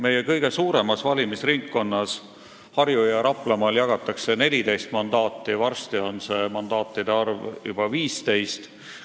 Meie kõige suuremas valimisringkonnas Harju- ja Raplamaal jagatakse 14 mandaati, varsti on mandaatide arv seal juba 15.